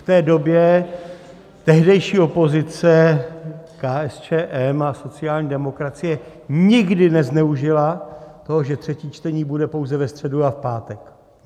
V té době tehdejší opozice KSČM a sociální demokracie nikdy nezneužila toho, že třetí čtení bude pouze ve středu a v pátek.